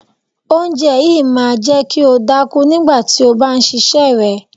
Oúnjẹ yìí máa jẹ́ kí o dákú nígbà tí o bá ṣíṣe rẹ.